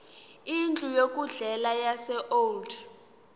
indlu yokudlela yaseold